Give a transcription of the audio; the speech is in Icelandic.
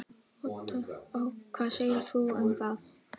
Hvað segir þú um það?